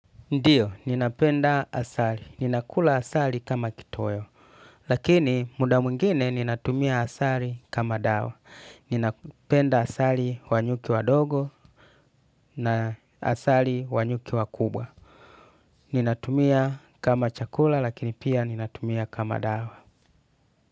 Ndiyo, ninapenda asali. Ninakula asali kama kitoweo. Lakini, muda mwingine ninatumia asali kama dawa. Ninapenda asali wanyuki wadogo na asali wanyuki wakubwa. Ninatumia kama chakula, lakini pia ninatumia kama dawa.